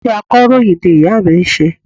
Iṣẹ́ akọ̀ròyìn ni ìya mi n se